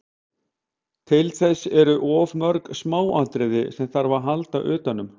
Til þess eru of mörg smáatriði sem þarf að halda utanum.